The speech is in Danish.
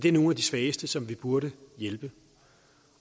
er nogle af de svageste som vi burde hjælpe